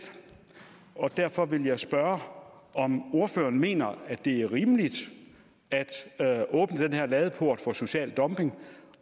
og derfor vil jeg spørge om ordføreren mener at det er rimeligt at åbne den her ladeport for social dumping